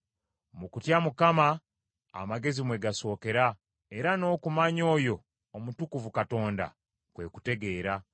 “Mu kutya Mukama amagezi mwe gasookera, era n’okumanya oyo Omutukuvu Katonda, kwe kutegeera.